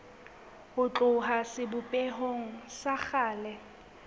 ho tloha sebopehong sa kgale